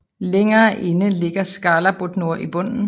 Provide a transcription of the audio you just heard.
Længere inde ligger Skálabotnur i bunden